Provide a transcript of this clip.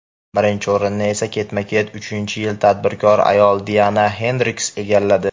Birinchi o‘rinni esa ketma-ket uchinchi yil tadbirkor ayol Diana Xendriks egalladi.